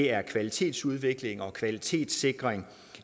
er kvalitetsudvikling og kvalitetssikring